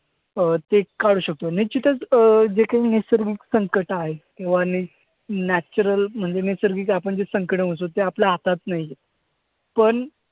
अं ते काढू शकतो. निश्चितच अं जे काही नैसर्गिक संकट आहे natural म्हणजे नैसर्गिक आपण जे संकटं म्हणतो ते आपल्या हातात नाही आहे. पण